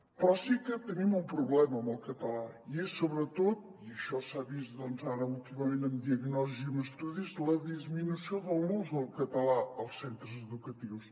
però sí que tenim un problema amb el català i és sobretot i això s’ha vist doncs ara últimament amb diagnosi i amb estudis la disminució de l’ús del cata·là als centres educatius